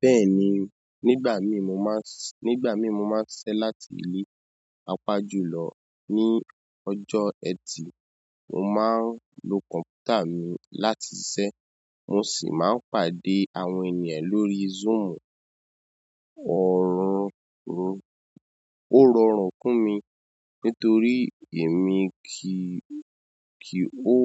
Bẹ́ẹ̀ni, nígbà mí mo má ń ṣiṣẹ láti ilé. Papá jú lọ ní ọjọ́ ẹtì, mo máa ń lo kọ̀mpútà mi láti ṣẹ́. Mo sì máa ń pàdé àwọn ènìyàn lórí Zoom. Orórùn kú mi nítorí èmi kì o